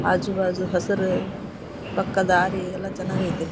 ಆಜು ಬಾಜು ಹಸುರು ಪಕ್ಕ ದಾರಿ ಎಲ್ಲಾ ಚೆನ್ನಾಗ್ ಅಯ್ತೆ.